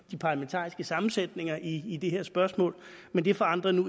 de parlamentariske sammensætninger i i det her spørgsmål men det forandrer nu